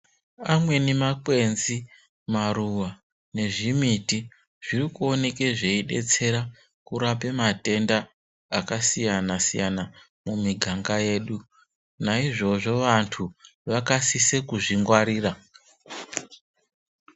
Amweni makwenzi maruwa nezvimiti zvirikuoneka zveidetsera kurapa matenda akasiyana-siyana mumiganga medu, naizvozvo, vantu vakasise kuzvingwarira.